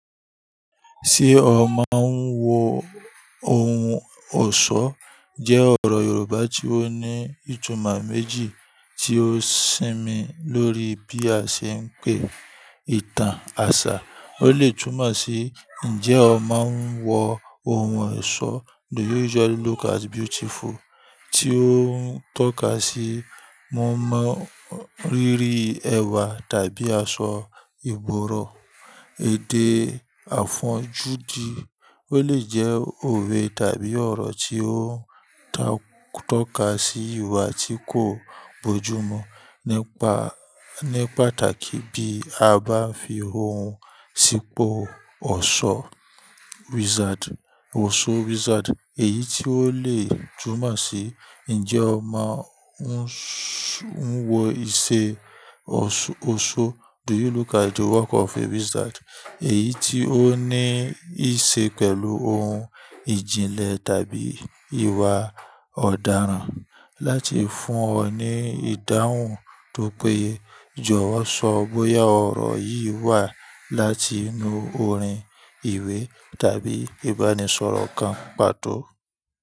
Ṣé ọ má n wo ohun ọ̀ṣọ́? Jẹ́ ọ̀rọ̀ Yorùbá tí ó ní ìtumọ̀ méjì tí ó sinmi lórí bí a ṣe ń pe ìtàn àṣà. Ó lè túmọ̀ sí "Ǹjẹ́ ọ máa ń wo ohun ọ̀ṣọ́?" tí ó ń tọ́ka sí mọ̀ọ́mọ̀ rírí ẹ̀wà tàbí aṣọ ìgboro, èdè, àfọnjú dí. Ó lè jẹ́ òwe tàbí ọ̀rọ̀ tí ó ń tọ́ka sí ìwà tí kò bójúmu ní pàtàkì bí a bá fi ohun sípò "ọ̀ṣọ́". Èyí tí ó lè túmọ̀ sí "Ǹjẹ́ ọ máa ń wo isẹ́ oṣó?" èyí tí ó ní í ṣe pẹ̀lú ohun ìjìnlẹ̀ tàbí ìwà ọ̀daràn láti fún ọ ní ìdáhùn. Tó péjọ wá sọ bóyá ọ̀rọ̀ yìí wá láti inú orin, ìwé tàbí ìbánisọ̀rọ̀ kan pàtó.